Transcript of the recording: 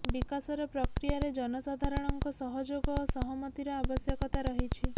ବିକାଶର ପ୍ରକ୍ରିୟାରେ ଜନସାଧାରଣଙ୍କ ସହଯୋଗ ଓ ସହମତିର ଆବଶ୍ୟକତା ରହିଛି